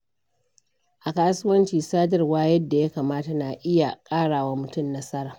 A kasuwanci, sadarwa yadda ya kamata na iya ƙara wa mutum nasara.